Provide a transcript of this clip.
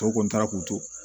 Tɔw kɔni taara k'u to